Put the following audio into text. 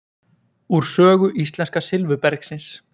úr sögu íslenska silfurbergsins